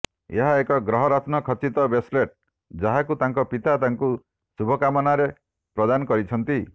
ଏହା ଏକ ଗ୍ରହରତ୍ନ ଖଚିତ ବ୍ରେସଲେଟ୍ ଯାହକୁ ତାଙ୍କ ପିତା ତାଙ୍କୁ ଶୁଭକାମନାରେ ପ୍ରଦାନ କରିଛନ୍ତି